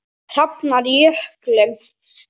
Hrafnar Jökull.